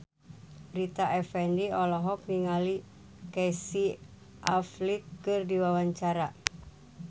Rita Effendy olohok ningali Casey Affleck keur diwawancara